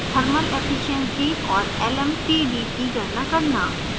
thermal efficiency और lmtd की गणना करना